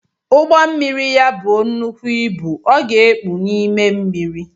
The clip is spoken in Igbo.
Ugbommiri ya bụọ nnekwụ ịbụ, ọ ga-ekpu n’ime mmiri